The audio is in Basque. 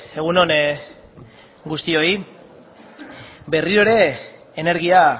egun on guztioi berriro ere energia